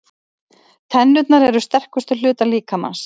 Tennurnar eru sterkustu hlutar líkamans.